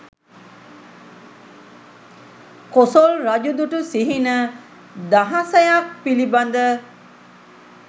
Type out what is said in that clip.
කොසොල් රජු දුටු සිහින දහසයක් පිළිබඳ.